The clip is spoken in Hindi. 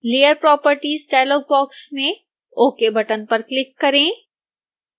layer properties डायलॉग बॉक्स में ok बटन पर क्लिक करें